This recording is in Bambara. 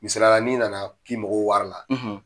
Misaliya la n'i nana k'i mago bɛ wari la